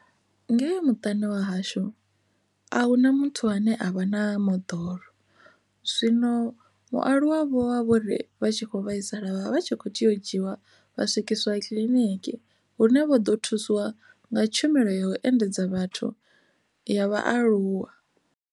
Ngeyo muṱani wa hashu a hu na muthu ane avha na moḓoro zwino vhaaluwa vhovha vhori vha vha tshi kho vhaisala vha vha vha tshi kho tea u dzhiwa vha swikiswa kiḽiniki hune vho ḓo thusiwa nga tshumelo ya u endedza vhathu ya vhaaluwa.